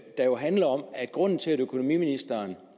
der handler om at grunden til at økonomiministeren